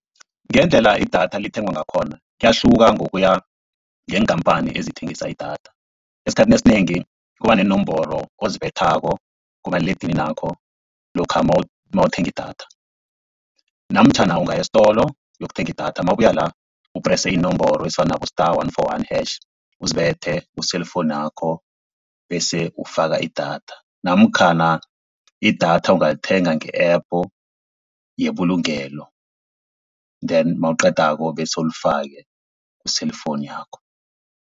Ngendlela idatha lithengwa ngakhona kuyahluka ngokuya ngeenkampani ezithengisa idatha. Esikhathini esinengi kuba neenomboro ozibethako kumaliledininakho lokha nawuthenga idatha, namtjhana ungaya estolo uyokuthenga idatha nawubuya la uprese iinomboro ezifana nabo star one four one hash, uzibethe ku-cellphone yakho bese ufaka idatha. Namkhana idatha ungalithenga nge-app yebulungelo then nawuqedako bese ulifake ku-cellphone yakho.